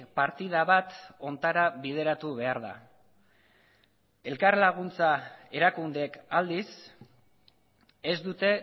partida bat hontara bideratu behar da elkarlaguntza erakundeek aldiz ez dute